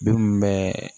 Bin bɛɛ